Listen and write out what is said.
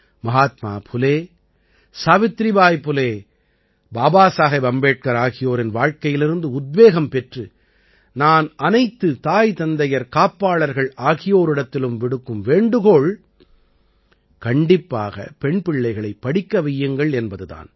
மஹாத்மா புலே சாவித்ரிபாய் புலே பாபாசாஹேப் அம்பேட்கர் ஆகியோரின் வாழ்க்கையிலிருந்து உத்வேகம் பெற்று நான் அனைத்து தாய் தந்தையர் காப்பாளர்கள் ஆகியோரிடத்திலும் விடுக்கும் வேண்டுகோள் கண்டிப்பாகப் பெண் பிள்ளைகளைப் படிக்க வையுங்கள் என்பது தான்